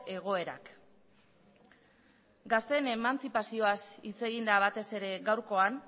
egoerak gazteen emantzipazioaz hitz egin da batez ere gaurkoan